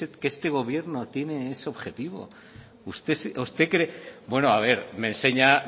que este gobierno tiene ese objetivo bueno a ver me enseña